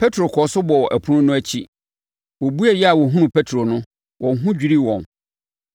Petro kɔɔ so bɔɔ ɛpono no akyi. Wɔbueeɛ a wɔhunuu Petro no, wɔn ho dwirii wɔn.